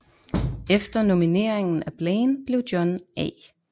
Efter nomineringen af Blaine blev John A